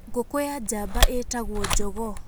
Ngũkũ ya njamba ĩtagwo njogoo.